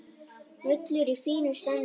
Völlur í fínu standi.